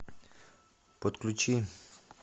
подключи